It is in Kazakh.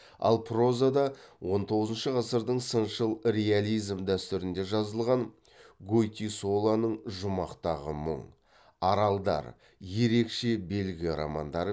ал прозада он тоғызыншы ғасырдың сыншыл реализм дәстүрінде жазылған гойтисолоның жұмақтағы мұң аралдар ерекше белгі романдары